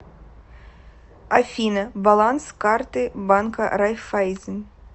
афина баланс карты банка райффайзен